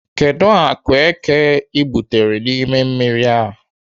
Kedụ akụ eke ị gwutere n'ime mmiri a?